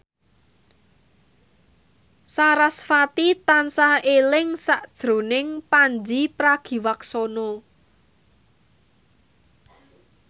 sarasvati tansah eling sakjroning Pandji Pragiwaksono